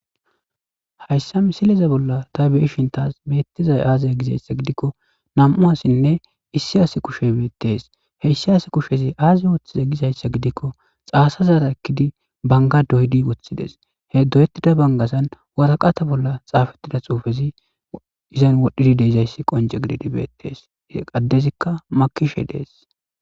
Hayssa missileza bolla tay beishin tas bettizay aze giko nam7u asinne issi asa kushshey bettes issi asa kushshezi aza oththize gizaysa gidiko xasazara ekidi bengga doyidi woththides he doyetida banggazan waraqata bolla xafetida xuufezi izan wodhdhi deizaysi qoncce giddidi bettes adezika makkishshe dess.